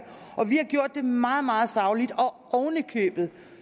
meget meget sagligt og oven i købet